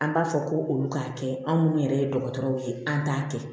An b'a fɔ ko olu k'a kɛ anw minnu yɛrɛ ye dɔgɔtɔrɔw ye an t'a kɛ